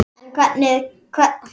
En hvernig gengur að kenna?